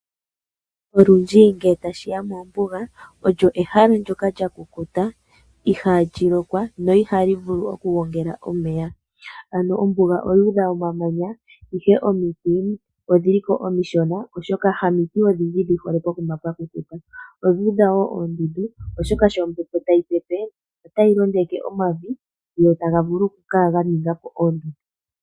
Olundji ngele tashiya mombuga olyo ehala ndono lya kukuta , i hali lokwa no i ha li vulu okugongela omeya. ano ombuga oyu udha omamanya ihe omiti odhiliko omishona oshoka ha miti odhindji dhi hole pokuma mpoka pwa kukuta. odhu udha woo oondundu oshoka sho ombepo ta yi pepe o ta yi londeke omavi go ta ga vulu okukala ge etapo oondundu.